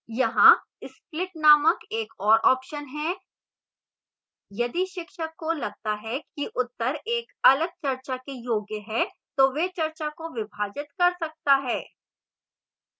यहां split named एक और option है यदि शिक्षक को लगता है कि उत्तर एक अलग चर्चा के योग्य है तो वह चर्चा को विभाजित कर सकती है